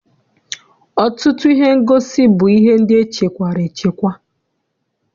Ọtụtụ ihe ngosi bụ ihe ndị echekwara echekwa.